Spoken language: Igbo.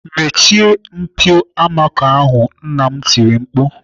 "Mechie mpio amako ahụ!" Nna m tiri mkpu